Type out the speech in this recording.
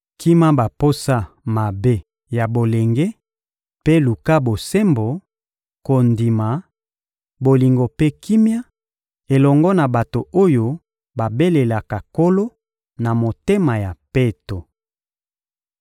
Kima baposa mabe ya bolenge mpe luka bosembo, kondima, bolingo mpe kimia elongo na bato oyo babelelaka Nkolo na motema ya peto.